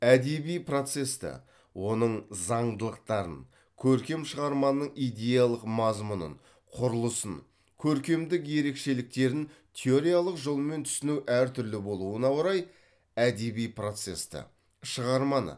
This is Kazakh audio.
әдеби процесті оның заңдылықтарын көркем шығарманың идеялық мазмұнын құрылысын көркемдік ерекшеліктерін теориялық жолмен түсіну әр түрлі болуына орай әдеби процесті шығарманы